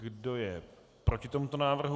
Kdo je proti tomuto návrhu?